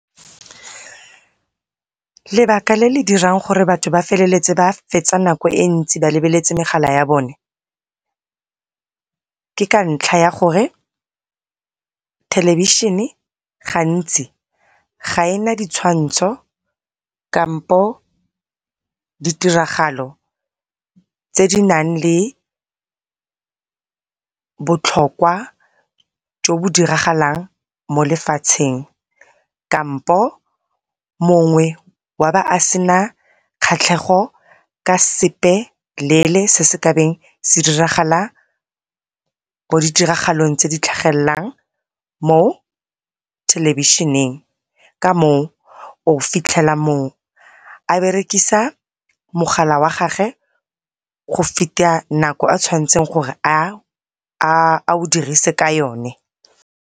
Lebaka le le dirang gore batho ba feleletse ba fetsa nako e ntsi ba lebeletse megala ya bone ke ka ntlha ya gore thelebišene gantsi ga ena di tshwantsho kampo di tiragalo tse di nang le botlhokwa jo bo diragalang mo lefatsheng, kampo mongwe wa ba a sena kgatlhego ka sepeleele, se se kabeng se diragala mo ditiragalong tse di tlhagellang mothelebišeneng. Ka moo o fitlhela mong a dirisa mogala wa gagwe go feta nako a tshwanetseng a o dirise ka yone.